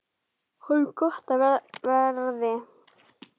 Honum gott af verði.